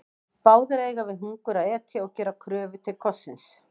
Báðir eiga við hungur að etja og gera kröfu til kossins.